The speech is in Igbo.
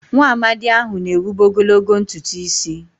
Nwaamadi ahụ na-ewube ogologo ntutu isi.